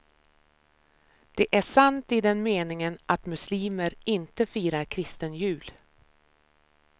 Det är sant i den meningen att muslimer inte firar kristen jul.